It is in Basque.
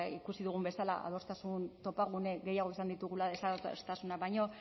ikusi dugun bezala adostasun topagune gehiago izan ditugula desadostasunak baino